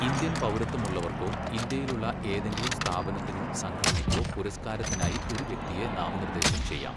Indian പൗരത്വമുള്ളവർക്കോ, ഇന്ത്യയിലുള്ള ഏതെങ്കിലും സ്ഥാപനത്തിനോ, സംഘടനയ്ക്കോ പുരസ്ക്കാരത്തിനായി ഒരു വ്യക്തിയെ നാമനിർദ്ദേശം ചെയ്യാം.